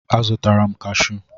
A zụtara m kashụ